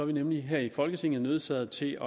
vi nemlig her i folketinget nødsaget til